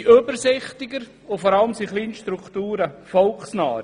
Sie sind übersichtlicher und vor allem volksnaher.